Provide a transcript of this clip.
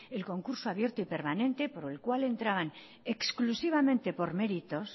el concurso abierto y permanente por el cual entraban exclusivamente por méritos